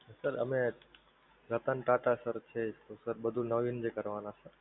sir અમે Ratan Tata sir છે. તો સર બધુ નવીન કરવાના.